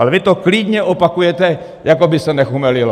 Ale vy to klidně opakujete jako by se nechumelilo.